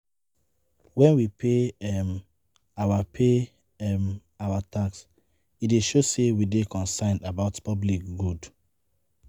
When we pay um our pay um our tax, e dey show sey we dey concerned about public good